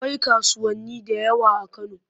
Akwai kasuwanni da yawa a Kano.